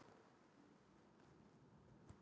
Við erum að gera það í sátt